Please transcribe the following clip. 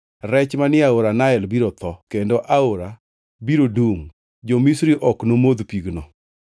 Rech manie aora Nael biro tho, kendo aora biro dungʼ, jo-Misri ok nomodh pigno.’ ”